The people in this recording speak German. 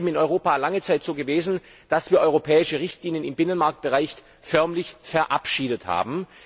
Es ist eben in Europa lange Zeit so gewesen, dass wir europäische Richtlinien im Binnenmarktbereich förmlich verabschiedet haben.